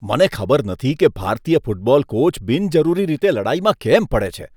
મને ખબર નથી કે ભારતીય ફૂટબોલ કોચ બિનજરૂરી રીતે લડાઈમાં કેમ પડે છે.